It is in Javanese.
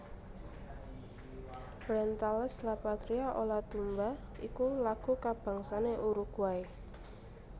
Orientales la Patria o la tumba iku lagu kabangsané Uruguay